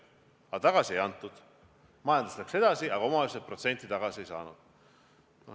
Aga tagasi ei antud, majandus läks edasi, aga omavalitsused protsenti tagasi ei saanud.